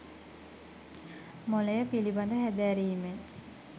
මොළය පිළිබඳ හැදෑරීමෙන්